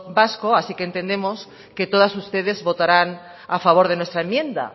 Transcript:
vasco así que entendemos que todas ustedes votarán a favor de nuestra enmienda